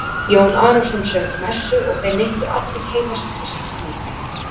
Jón Arason söng messu og þeir neyttu allir heilags Krists líkama.